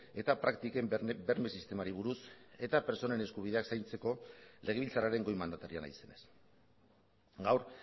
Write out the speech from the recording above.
eta praktiken berme sistemari buruz eta pertsonen eskubideak zaintzeko legebiltzarraren goi mandataria naizenez gaur